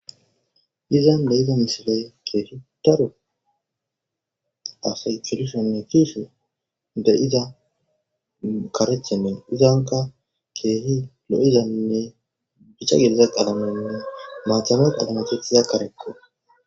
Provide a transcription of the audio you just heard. izan be7iza misiley keehitaru asay tulishonne fiishe de7iza karechenne izanka keehi lo7izaynne bicha gediza qalamenne maacame qalame tethiza karekko